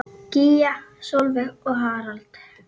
Gígja Sólveig og Harald.